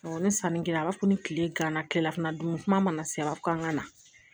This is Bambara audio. ni sanni kɛra a b'a fɔ ko ni tile ganna tilefana dun kuma mana se k'an ka na